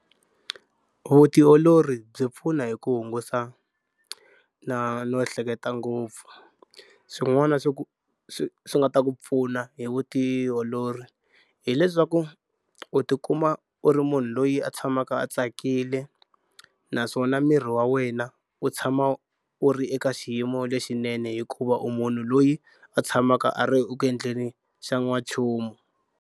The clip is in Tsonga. Vutiolori byi pfuna hi ku hungusa na no ehleketa ngopfu. Swin'wana swo ku swi swi nga ta ku pfuna hi vutiolori hileswaku u tikuma u ri munhu loyi a tshamaka a tsakile naswona miri wa wena wu tshama wu ri eka xiyimo lexinene hikuva u munhu loyi a tshamaka a ri ku endleni xa n'wanchumu.